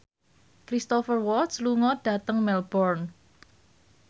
Cristhoper Waltz lunga dhateng Melbourne